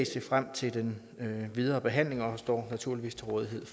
se frem til den videre behandling og står naturligvis til rådighed